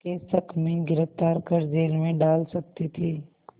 के शक में गिरफ़्तार कर जेल में डाल सकती थी